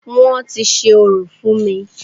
Wọ́n ti ṣe orò fún mí.